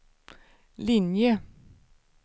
linje